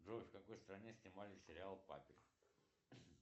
джой в какой стране снимали сериал папик